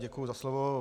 Děkuju za slovo.